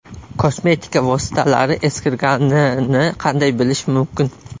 Kosmetika vositalari eskirganini qanday bilish mumkin?.